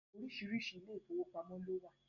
Oríṣiríṣi ilé ìfowópamọ́ ló wà